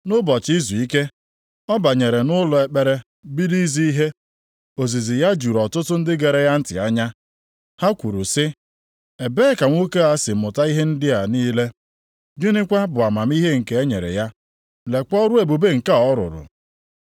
Nʼụbọchị izuike, ọ banyere nʼụlọ ekpere bido izi ihe. Ozizi ya juru ọtụtụ ndị gere ya ntị anya. Ha kwuru sị, “Ebee ka nwoke si mụta ihe ndị a niile? Gịnịkwa bụ amamihe nke a e nyere ya? Lekwa ọrụ ebube nke a ọ rụrụ?